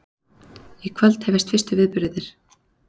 Í kvöld hefjast fyrstu viðburðirnir